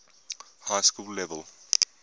high school level